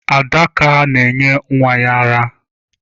Adaka na-enye nwa ya ara.